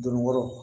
Donni kɔrɔ